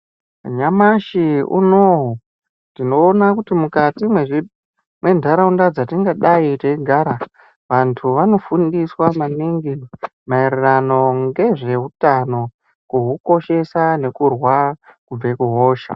Nyamashi unowu, tinoona kuti mwukati mwentaraunda dzetingadai teigara vantu vanofundiswa maningi maererano ngezveutano, kuhukoshesa nekurwa kubve kuhosha.